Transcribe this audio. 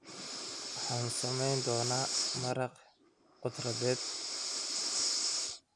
Waxaan samayn doonaa maraq khudradeed.